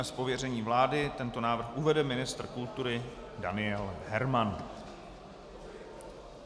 Z pověření vlády tento návrh uvede ministr kultury Daniel Herman.